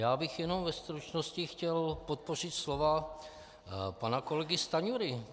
Já bych jenom ve stručnosti chtěl podpořit slova pana kolegy Stanjury.